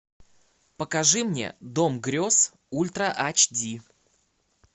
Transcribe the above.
покажи мне дом грез ультра ач ди